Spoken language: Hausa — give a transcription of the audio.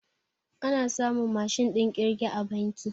A na samun Mashin ɗin kirge a banki